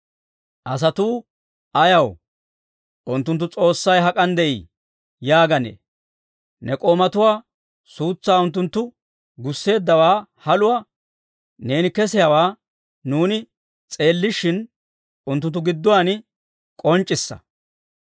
Asatuu ayaw, «Unttunttu S'oossay hak'an de'ii?» yaaganee? Ne k'oomatuwaa suutsaa unttunttu gusseeddawaa haluwaa, neeni kessiyaawaa nuuni s'eellishin, unttunttu gidduwaan k'onc'c'issa.